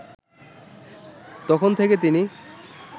তখন থেকে তিনি